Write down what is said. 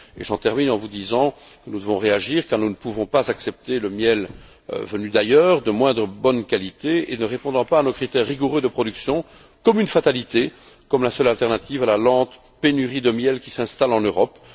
Je termine en vous disant que nous devons réagir car nous ne pouvons pas accepter le miel venu d'ailleurs de moindre qualité et ne répondant pas à nos critères rigoureux de production comme une fatalité, comme la seule alternative à la lente pénurie de miel qui s'installe en Europe.